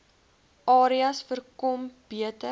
areas voorkom beter